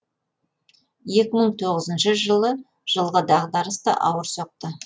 екі мың тоғызыншы жылғы дағдарыс та ауыр соқты